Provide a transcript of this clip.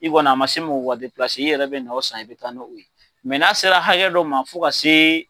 Bi kɔni a ma se mɔgɔ ka depilase i yɛrɛ bɛ na o san i bɛ taa n'o ye n a sera hakɛ dɔ ma fo ka se.